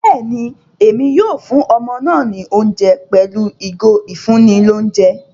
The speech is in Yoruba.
Béèni, Èmí yóò fún ọmọ náà ní oúnjẹ pẹlu ìgò ifunni l'ounjẹ